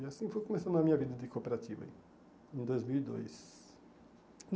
E assim foi começando a minha vida de cooperativa em dois mil e dois.